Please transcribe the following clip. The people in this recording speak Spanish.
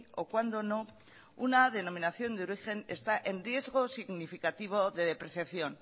o cuando no una denominación de origen está en riesgo significativo de depreciación